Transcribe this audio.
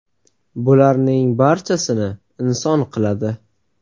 Bularning barchasini inson qiladi.